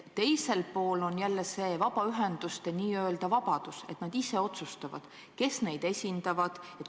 Teisel pool on jälle see vabaühenduste n-ö vabadus, see, et nad ise otsustavad, kes neid esindab.